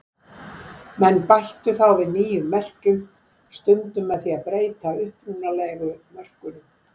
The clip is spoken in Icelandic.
Menn bættu þá við nýjum merkjum, stundum með því að breyta upprunalegu mörkunum.